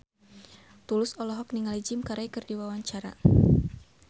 Tulus olohok ningali Jim Carey keur diwawancara